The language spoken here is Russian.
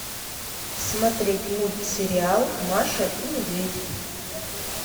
смотреть мультсериал маша и медведь